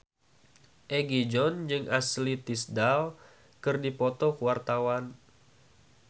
Egi John jeung Ashley Tisdale keur dipoto ku wartawan